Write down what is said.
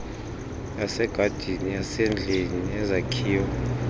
yasegadini yasendlini neyezakhiwo